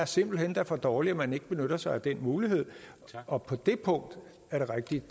simpelt hen er for dårligt at man ikke benytter sig af den mulighed og på det punkt er det rigtigt